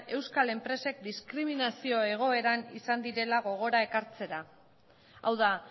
euskal enpresek diskriminazio egoeran izan direla gogora ekartzera hau da